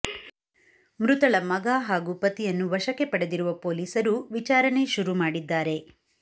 ಮೃತಳ ಮಗ ಹಾಗೂ ಪತಿಯನ್ನು ವಶಕ್ಕೆ ಪಡೆದಿರುವ ಪೊಲೀಸರು ವಿಚಾರಣೆ ಶುರು ಮಾಡಿದ್ದಾರೆ